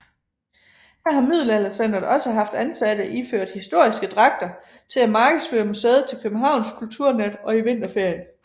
Her har Middelaldercentret også haft ansatte iført historiske dragter til at markedsføre museet til Københavns Kulturnat og i vinterferien